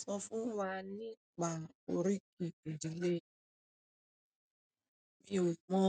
Sọ fún wa nípa oríkì ìdílé rẹ. Mi ò mọ